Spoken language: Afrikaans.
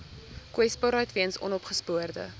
kwesbaarheid weens onopgespoorde